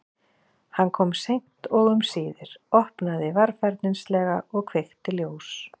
Hann kom seint og um síðir, opnaði varfærnislega og kveikti ljós.